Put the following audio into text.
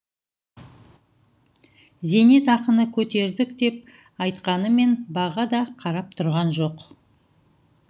зейнетақыны көтердік деп айтқанымен баға да қарап тұрған жоқ